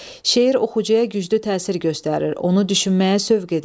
Şeir oxucuya güclü təsir göstərir, onu düşünməyə sövq edir.